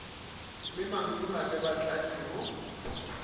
le mantona le batlatši go